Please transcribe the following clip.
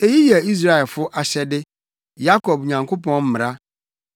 Eyi yɛ Israelfo ahyɛde, Yakob Nyankopɔn mmara.